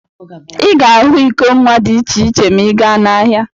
Ị ga ahụ iko nwa dị iche iche ma ị gaa n'ahịa.